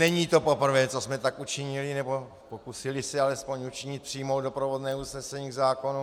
Není to poprvé, co jsme tak učinili nebo pokusili se alespoň učinit - přijmout doprovodné usnesení k zákonu.